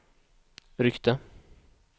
ryckte